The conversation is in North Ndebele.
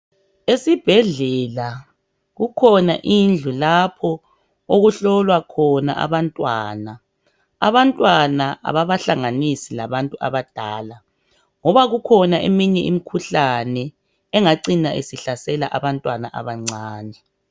Esibhedlela kukhona indlu lapho okuhlolwa khona abantwana. Abantwana kababahlanganisi labantu abadala, ngoba kukhona eminye imikhuhlane engacina isihlasela abantwana abancane.